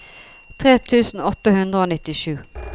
tre tusen åtte hundre og nittisju